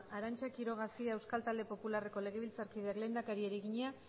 arantza quiroga cia euskal talde popularreko legebiltzarkideak lehendakariari egina